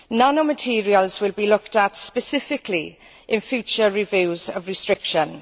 Nanomaterials will be looked at specifically in future reviews of restrictions.